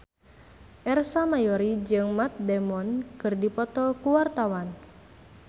Ersa Mayori jeung Matt Damon keur dipoto ku wartawan